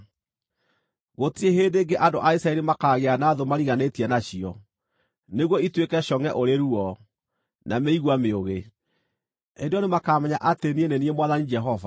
“ ‘Gũtirĩ hĩndĩ ĩngĩ andũ a Isiraeli makaagĩa na thũ mariganĩtie nacio, nĩguo ituĩke congʼe ũrĩ ruo, na mĩigua mĩũgĩ. Hĩndĩ ĩyo nĩmakamenya atĩ niĩ nĩ niĩ Mwathani Jehova.